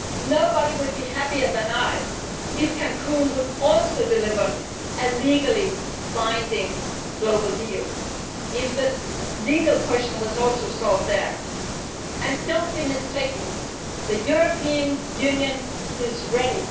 Nobody would be happier than me if Cancún also delivered a legally binding global deal and if the legal question was also solved there and do not be mistaken, the European Union is ready.